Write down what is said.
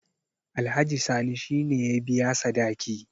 alhaji sani shi ne ya biya sadaki